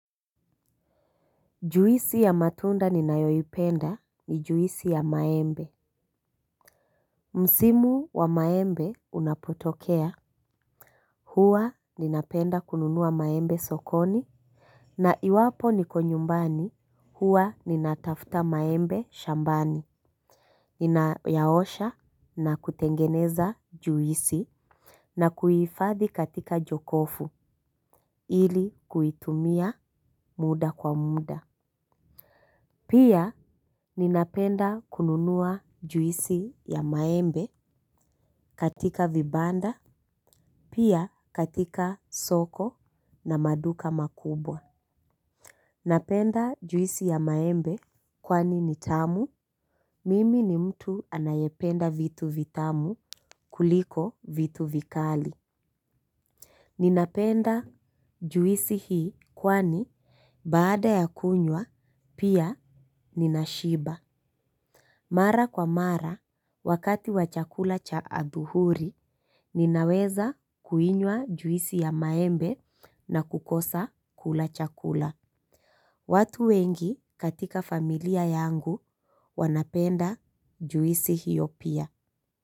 Juisi ya matunda ninayoipenda ni juisi ya maembe. Msimu wa maembe unapotokea. Huwa napenda kununua maembe sokoni. Na iwapo niko nyumbani huwa ninatafuta maembe shambani. Ninayaosha na kutengeneza juisi. Na kuhifadhi katika jokofu ili kuitumia muda kwa muda. Pia ninapenda kununua juisi ya maembe katika vibanda, pia katika soko na maduka makubwa. Napenda juisi ya maembe kwani ni tamu, mimi ni mtu ninaependa vitu vitamu kuliko vitu vikali. Ninapenda juisi hii kwani baada ya kunywa, pia ninashiba. Mara kwa mara, wakati wa chakula cha adhuhuri, ninaweza kuinywa juisi ya maembe na kukosa kula chakula. Watu wengi katika familia yangu wanapenda juisi hiyo pia.